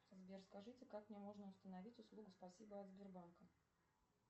сбер скажите как мне можно установить услугу спасибо от сбербанка